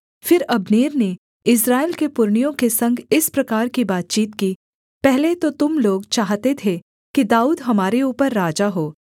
फिर अब्नेर ने इस्राएल के पुरनियों के संग इस प्रकार की बातचीत की पहले तो तुम लोग चाहते थे कि दाऊद हमारे ऊपर राजा हो